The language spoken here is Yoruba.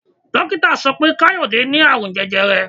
Dókítà sọ pé Káyọ̀dé ní Ààrùn jẹjẹrẹ.